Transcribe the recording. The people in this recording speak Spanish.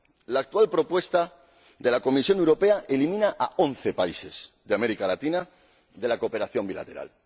La actual propuesta de la Comisión Europea elimina a once países de América Latina de la cooperación bilateral.